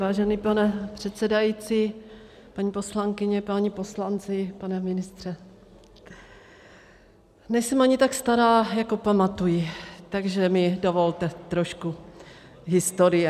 Vážený pane předsedající, paní poslankyně, páni poslanci, pane ministře, nejsem ani tak stará, jako pamatuji, takže mi dovolte trošku historie.